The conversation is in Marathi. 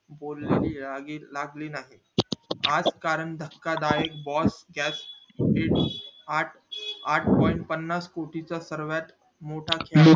बोलणी या वेळी लागली नाही आज कारण धक्का दायक आठ आठ point पन्नास पन्नास कोटी चा सर्वात मोठा